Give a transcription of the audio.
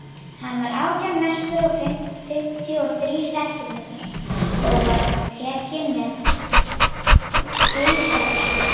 Hann var átján merkur og fimmtíu og þrír sentímetrar, og var tekinn með keisaraskurði.